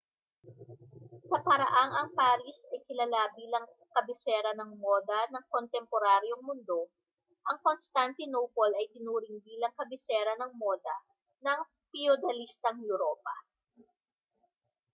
sa paraang ang paris ay kilala bilang kabisera ng moda ng kontemporaryong mundo ang constantinople ay itinuring bilang kabisera ng moda ng piyudalistang europa